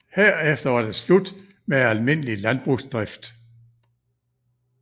Herefter var det slut med almindelig landbrugsdrift